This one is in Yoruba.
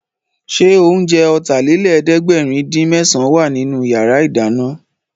Ṣé oúnjẹ Ọ̀tàlélẹ̀ẹ́dẹ́gbẹ̀rin-dín-mésàn wà nínú yàrá ìdáná?